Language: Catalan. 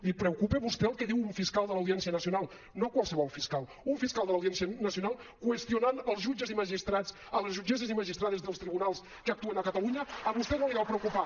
li preocupa a vostè el que diu un fiscal de l’audiència nacional no qualsevol fiscal un fiscal de l’audiència nacional qüestionant els jutges i magistrats les jutgesses i magistrades dels tribunals que actuen a catalunya a vostè no li deu preocupar